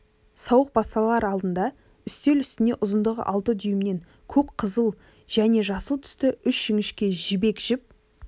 сауық басталар алдында патша үстел үстіне ұзындығы алты дюймнен көк қызыл және жасыл түсті үш жіңішке жібек жіп